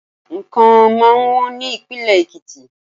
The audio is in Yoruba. Nǹkan máa wọ́n ní ìpínlè Èkìtì.